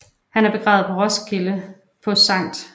Han er begravet i Roskilde på Skt